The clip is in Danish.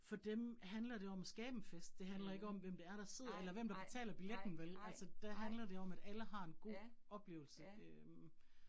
For dem handler det om at skabe en fest, det handler ikke om, hvem det er, der sidder eller hvem, der betaler billetten vel altså. Der handler det om, at alle har en god oplevelse øh